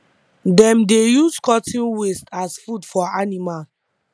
dem dey use cotton waste as food for animal